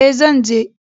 E, zan je.